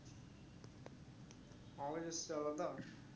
আমার কাছে এসেছে আলাদা